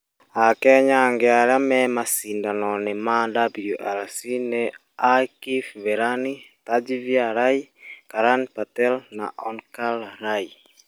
AKenya angĩ arĩa marĩ macindano-inĩ ma WRC nĩ Aakif Verani, Tejveer Rai, Karan Patel na Onkar Rai.